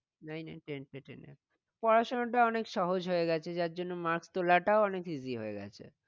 Nine nine ten এর টা ten এ পড়া শোনাটা অনেক সহজ হয়ে গেছে। যার জন্য mark তোলাটাও অনেক easy হয়ে গেছে।